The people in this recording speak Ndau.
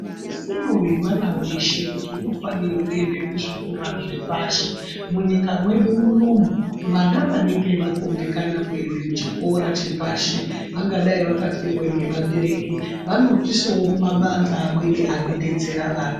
Isisiro yemwana weshe kuti unofanire kuende kuzvikora zvepashi. Munyika mwedu mwunomwu vana vanenge vakundikana kuende kuchikora chepashi, vangadai vakafirwe ngevabereki vanoiswewo kumabandhla amweni anodetsera vana.